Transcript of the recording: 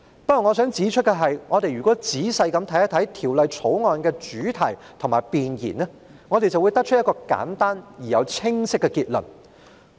不過，我想指出，如果我們仔細審閱《條例草案》的主題和弁言，便會得出一個簡單而又清晰的結論。